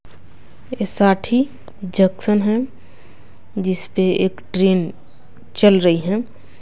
ऐसाठी junction है जिस पर एक ट्रेन चल रही है।